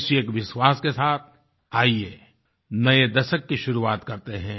इसी एक विश्वास के साथ आइये नए दशक की शुरुआत करते हैं